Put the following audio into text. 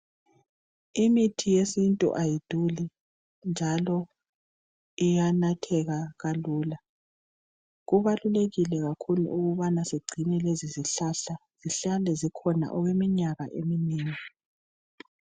Imithi yesintu ayiduli , njalo iyanatheka kalula , kubalulekile kakhulu ukubana sigcine lezi zihlahla , mhlawumbe zikhona okweminyaka eminengi